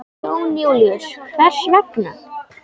Jón Júlíus: Hvers vegna?